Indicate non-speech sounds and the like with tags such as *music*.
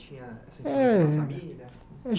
Tinha É *unintelligible* na família?